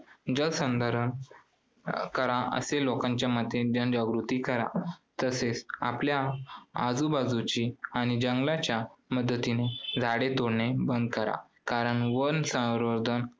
जलसंधारण अं करा असे लोकांच्या मध्ये जनजागृती करा. तसेच आपल्या आजूबाजूची आणि जंगलांच्या मधील झाडे तोडणे बंद करा, कारण वनसंवर्धन